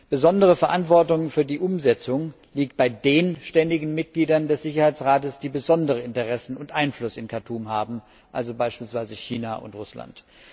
Besondere Verantwortung für die Umsetzung liegt bei den ständigen Mitgliedern des Sicherheitsrates, die besondere Interessen und Einfluss im Khartum haben, also beispielsweise China und Russland.